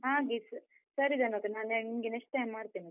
ಹಾಗೆಸ, ಸರಿ ಧನು ಅಕ್ಕ, ನಾನ್ ನಿಮ್ಗೆ next time ಮಾಡ್ತೇನೆ.